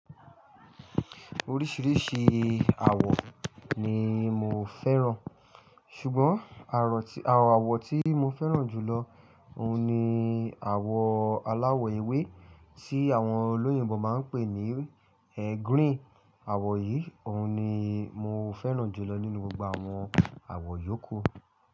Oríṣìíríṣìí àwọ̀ ni mo fẹ́ràn ṣùgbọ́n àwọ̀ tí mo fẹ́ràn jù lọ òun ní àwọ̀ aláwọ̀ ewé tí àwọn olóyìnbo máa ń pè ní green. Àwọ̀ yìí òun ni mo fẹ́ràn jù lọ nínú gbogbo àwọn àwọ̀ yòókù.